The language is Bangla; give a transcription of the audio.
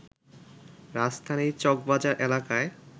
রাজধানীর চকবাজার এলাকায়